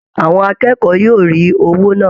Àwọn akẹ́kọ̀ọ́ yóò rí owó náà